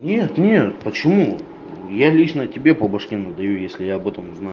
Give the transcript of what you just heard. нет нет почему я лично тебе по башке надаю если я об этом узнаю